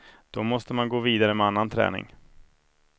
Då måste man gå vidare med annan träning.